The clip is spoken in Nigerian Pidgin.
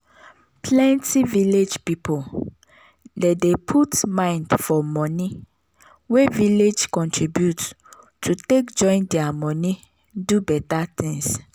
plenty village people dey dey put mind for money wey village contribute to take join their money do better things